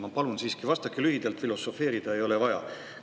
Ma palun siiski, vastake lühidalt, filosofeerida ei ole vaja.